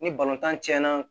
Ni tan tiɲɛna